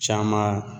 Caman